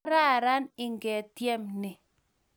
Kararan ngityem ni